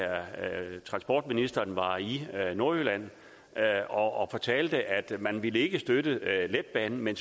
transportministeren var i nordjylland og fortalte at man ikke ville støtte letbanen men